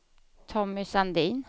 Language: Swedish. Tommy Sandin